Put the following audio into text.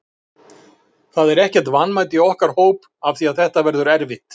Það er ekkert vanmat í okkar hóp af því að þetta verður erfitt.